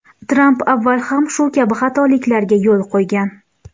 Tramp avval ham shu kabi xatoliklarga yo‘l qo‘ygan.